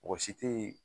Mɔgɔ si tɛ ye